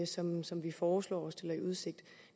som som vi foreslår og stiller i udsigt